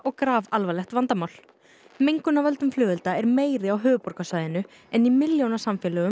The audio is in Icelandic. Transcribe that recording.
grafalvarlegt vandamál mengun af völdum flugelda er meiri á höfuðborgarsvæðinu en í